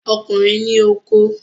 Ọkùnrin ní okó